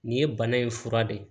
Nin ye bana in fura de ye